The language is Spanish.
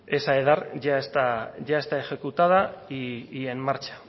esa edar ya está ejecutada y en marcha